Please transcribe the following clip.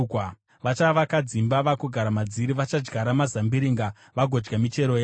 Vachavaka dzimba vagogara madziri; vachadyara mazambiringa vagodya michero yawo.